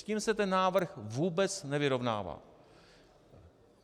S tím se ten návrh vůbec nevyrovnává.